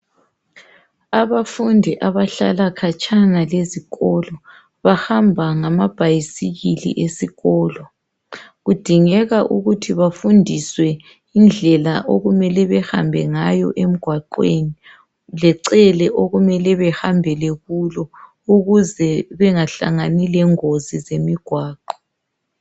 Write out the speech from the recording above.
Abafundi abahlala khatshana lesikolo bahamba ngama bhayisikile esikolo kudingeka ukuthi bafundiswe indlela okumele behambe ngayo emigwaqweni lecele okumele behambele kulo ukuze bengahlangani lezingozi zomgwaqo.